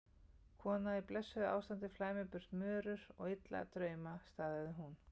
Kona í blessuðu ástandi flæmir burt mörur og illa drauma, staðhæfði hún.